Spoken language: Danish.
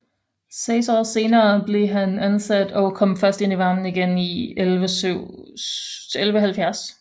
Seks år senere blev han afsat og kom først ind i varmen igen i 1170